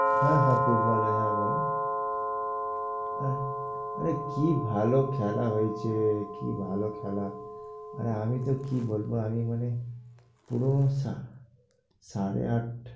হ্যাঁ হ্যাঁ football এ হ্যাঁ বলো। আর আরে কি ভালো খেলা হয়েছে কি ভালো খেলা। আর আমি তো কি বলবো আমি মানে পুরো